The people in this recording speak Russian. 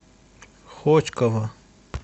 хотьково